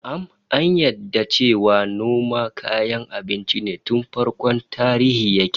Na'am, an yarda cewa noma kayan abinci tun farkon tarihi yake